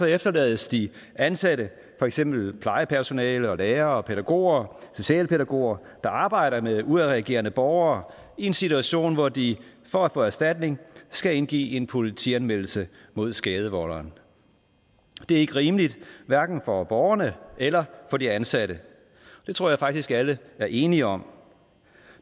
efterlades de ansatte for eksempel plejepersonale lærere pædagoger og socialpædagoger der arbejder med udadreagerende borgere i en situation hvor de for at få erstatning skal indgive en politianmeldelse mod skadevolderen det er ikke rimeligt hverken for borgerne eller for de ansatte det tror jeg faktisk alle er enige om